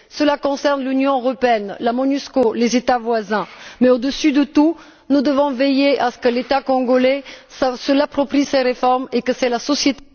Cela concerne l'Union européenne, la Monusco, les États voisins, mais, par dessus tout, nous devons veiller à ce que l'État congolais s'approprie ces réformes et que ce soit la société